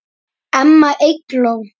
Amma Eygló.